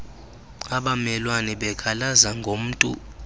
abamelwane bekhalaza ngomntu